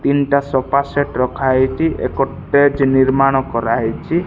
ତିନଟା sofa set ରଖାହେଇଛି ଏକ ଷ୍ଟେଜ ନିର୍ମାଣ କରାହେଇଛି।